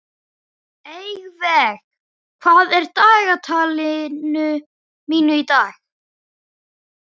Eyveig, hvað er í dagatalinu mínu í dag?